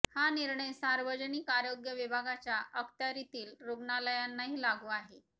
हा निर्णय सार्वजनिक आरोग्य विभागाच्या अखत्यारितील रुग्णालयांनाही लागू आहे